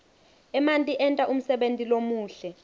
emanti enta umsebenti lomuhle